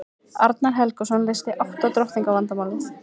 arnar helgason leysti átta drottninga vandamálið